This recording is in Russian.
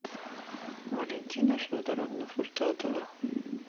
валентина федоровна фуртатова